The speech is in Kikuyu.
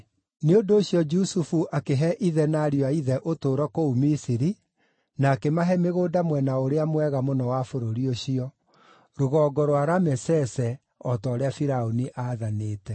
Nĩ ũndũ ũcio Jusufu akĩhe ithe na ariũ a ithe ũtũũro kũu Misiri na akĩmahe mĩgũnda mwena ũrĩa mwega mũno wa bũrũri ũcio, rũgongo rwa Ramesese o ta ũrĩa Firaũni aathanĩte.